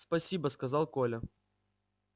спасибо сказал коля